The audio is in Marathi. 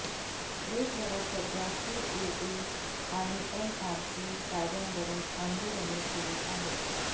देशभरात सध्या सीएए आणि एनआरसी कायद्यावरुन आंदोलने सुरु आहेत